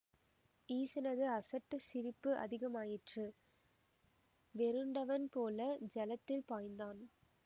ஈசனது அசட்டு சிரிப்பு அதிகமாயிற்று வெருண்டவன் போல ஜலத்தில் பாய்ந்தான்